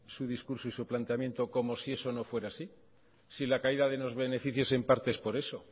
su discurso y su planteamiento como si eso no fuera así si la caída de los beneficios es parte es por eso